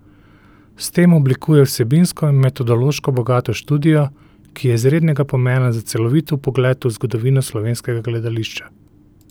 S tem oblikuje vsebinsko in metodološko bogato študijo, ki je izrednega pomena za celovit vpogled v zgodovino slovenskega gledališča.